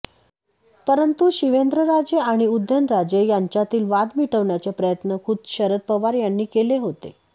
परंतु शिवेंद्रराजे आणि उदयनराजे यांच्यातील वाद मिटवण्याचे प्रयत्न खुद्द शरद पवार यांनी केले होते